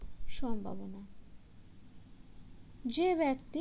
সম্ভাবনা যে ব্যক্তি